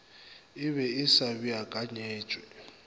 e be e sa beakanyetšwa